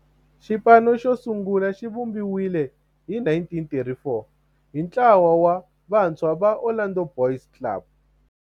Xipano xosungula xivumbiwile hi 1934 hi ntlawa wa vantshwa va Orlando Boys Club.